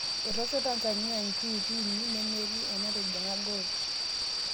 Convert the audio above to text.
Etoosho Tanzania njuuti uni nemetii enatijing'a gool